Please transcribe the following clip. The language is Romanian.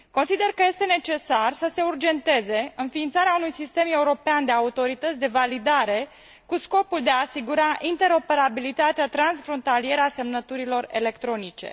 Consider că este necesar să se urgenteze înființarea unui sistem european de autorități de validare cu scopul de a asigura interoperabilitatea transfrontalieră a semnăturilor electronice.